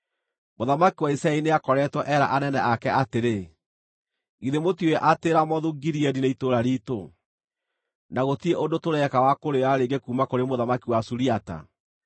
Mũthamaki wa Isiraeli nĩakoretwo eera anene ake atĩrĩ, “Githĩ mũtiũĩ atĩ Ramothu-Gileadi nĩ itũũra riitũ, na gũtirĩ ũndũ tũreka wa kũrĩoya rĩngĩ kuuma kũrĩ mũthamaki wa Suriata?”